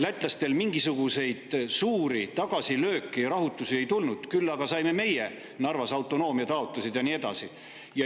Lätlastel mingisuguseid suuri tagasilööke, rahutusi ei tulnud, küll aga saime meie Narvas autonoomiataotlused ja nii edasi.